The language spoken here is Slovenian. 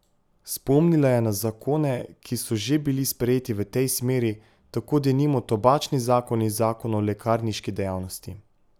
Spomnila je na zakone, ki so že bili sprejeti v tej smeri, tako denimo tobačni zakon in zakon o lekarniški dejavnosti.